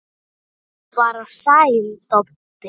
Eða bara Sæll Tobbi?